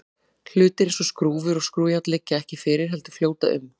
hlutir eins og skrúfur og skrúfjárn liggja ekki kyrr heldur fljóta um